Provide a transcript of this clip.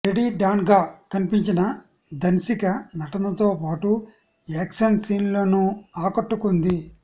lady డాన్గా కనిపించిన ధన్సిక నటనతో పాటు యాక్షన్ సీన్స్లోనూ ఆకట్టుకుంది